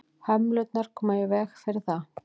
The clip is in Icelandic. hömlurnar koma í veg fyrir það